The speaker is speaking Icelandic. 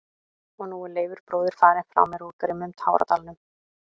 Og nú er Leifur bróðir farinn frá mér úr grimmum táradalnum.